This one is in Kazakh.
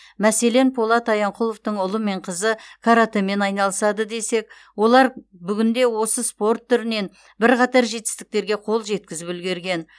мәселен полат аянқұловтың ұлы мен қызы каратэмен айналысады десек олар бүгінде осы спорт түрінен бірқатар жетістіктерге қол жеткізіп үлгерген